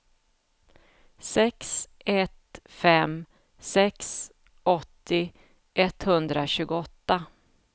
sex ett fem sex åttio etthundratjugoåtta